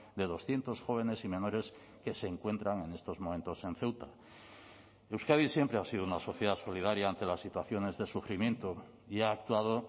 de doscientos jóvenes y menores que se encuentran en estos momentos en ceuta euskadi siempre ha sido una sociedad solidaria ante las situaciones de sufrimiento y ha actuado